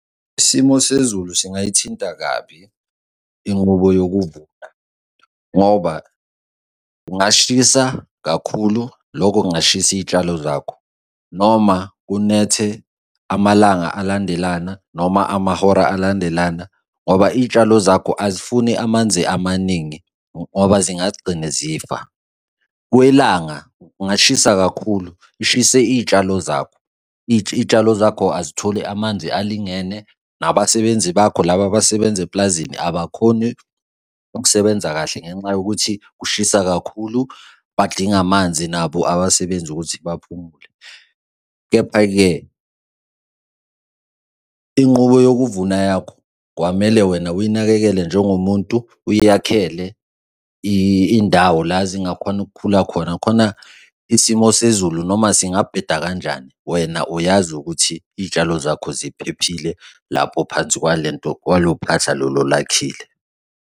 Isimo sezulu singayithinta kabi inqubo yokuvuka, ngoba kungashisa kakhulu, lokho kungashisa iy'tshalo zakho. Noma kunethe amalanga alandelana noma amahora alandelana ngoba iy'tshalo zakho azifuni amanzi amaningi, ngoba zingagcine zifa. Kwelanga kungashisa kakhulu lishise iy'tshalo zakho, iy'tshalo zakho azitholi amanzi alingene nabasebenzi bakho laba abasebenza eplazini abakhoni ukusebenza kahle ngenxa yokuthi kushisa kakhulu, badinga amanzi nabo abasebenzi ukuthi baphumule. Kepha-ke inqubo yokuvuna yakho, kwamele wena uyinakekele njengomuntu, eyakhele indawo la zingakhona ukukhula khona, khona isimo sezulu noma singabheda kanjani wena uyazi ukuthi iy'tshalo zakho ziphephile, lapho phansi kwalento, kwalo phahla lolu olakhile.